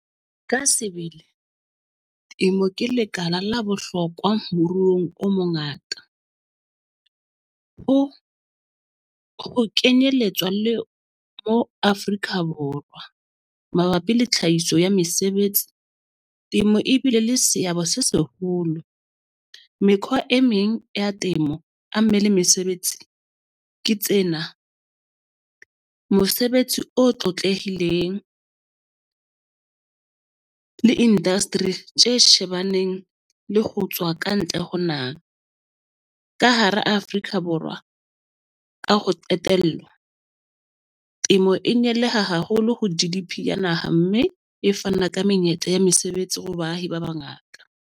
Ka sebele temo ke lekala la bohlokwa moruong o mongata o, o kenyelletswa le mo Afrika Borwa. Mabapi le tlhahiso ya mesebetsi, temo e bile le seabo se seholo. Mekhwa e meng ya temo a mme le mesebetsi ke tsena, mosebetsi o tlotlehileng le industry tje shebaneng le ho tswa kantle ho naha. Ka hara Afrika Borwa ka ho qetella, temo e haholo ho di ya naha, mme e fana ka menyetla ya mesebetsi ho baahi ba bangata.